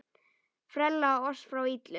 Frelsa oss frá illu!